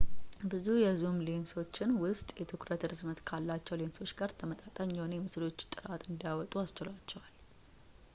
ይህ የዙም ሌንሶችን ውስን የትኩረት ርዝመት ካላቸው ሌንሶች ጋር ተመጣጣኝ የሆነ የምስሎች ጥራት እንዲያወጡ አስችሏቸዋል